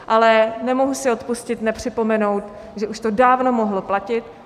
Ale nemohu si odpustit nepřipomenout, že už to dávno mohlo platit.